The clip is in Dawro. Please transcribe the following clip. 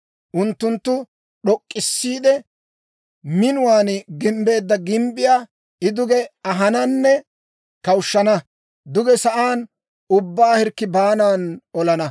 Unttunttu d'ok'k'issiide, minuwaan gimbbeedda gimbbiyaa I duge ahananne kawushshana; duge sa'aan, ubbaa hirkki baanan olana.